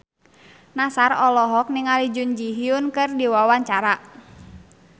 Nassar olohok ningali Jun Ji Hyun keur diwawancara